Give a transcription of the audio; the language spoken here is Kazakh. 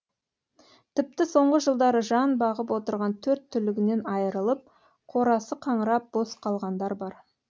тіпті соңғы жылдары жан бағып отырған төрт түлігінен айырылып қорасы қаңырап бос қалғандар бар